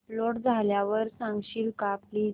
upload झाल्यावर सांगशील का प्लीज